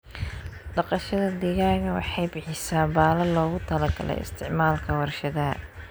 Dhaqashada digaaga waxay bixisaa baalal loogu talagalay isticmaalka warshadaha.